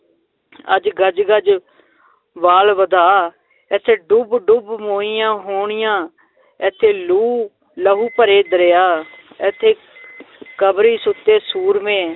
ਅੱਜ ਗਜ਼ ਗਜ਼ ਵਾਲ ਵਧਾ, ਏਥੇ ਡੁਬ ਡੁਬ ਮੋਈਆਂ ਹੋਣੀਆਂ ਏਥੇ ਲੂਹ ਲਹੂ ਭਰੇ ਦਰਿਆ ਏਥੇ ਕਬਰੀਂ ਸੁੱਤੇ ਸੂਰਮੇ